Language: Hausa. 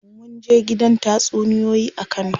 Munje gidan tatsuniyoyi a kano.